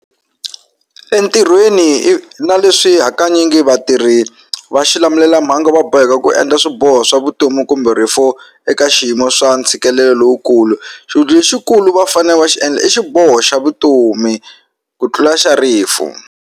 Entirhweni i na leswi hakanyingi vatirhi va xilamulelamhangu va boheka ku endla swiboho swa vutomi kumbe rifu eka xiyimo swa ntshikelelo lowukulu lexikulu va fane va xi endla i xiboho xa vutomi ku tlula xa rifu.